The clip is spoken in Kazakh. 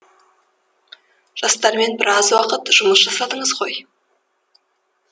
жастармен біраз уақыт жұмыс жасадыңыз ғой